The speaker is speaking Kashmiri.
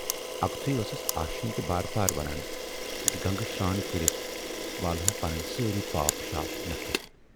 اکھتُے ٲسٕس آشینۍ تہِ بار بار ونان زِ گنگہٕ شران کٔرِتھ والہو پنٕنۍ سٲری پاپھ شاپھ نکھٕ۔